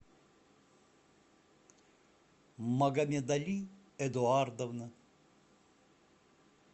магомедали эдуардовна